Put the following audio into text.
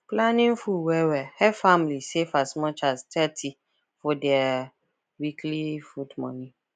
planning food well well help family save as much as thirty for their weekly food money